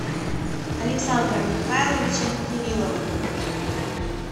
александром михайловичем кирилловым